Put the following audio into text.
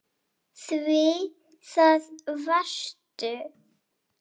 Því það varstu.